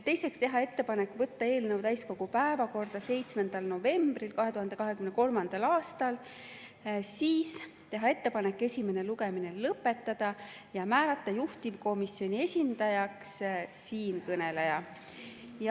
Teiseks, teha ettepanek võtta eelnõu täiskogu päevakorda 7. novembril 2023. aastal, teha ettepanek esimene lugemine lõpetada ja määrata juhtivkomisjoni esindajaks siinkõneleja.